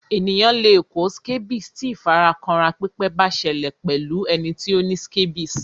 Ènìyàn le kó scabies ti ìfara kanra pípẹ́ ba sẹlẹ̀ pẹ́lu ẹni ti o ni scabies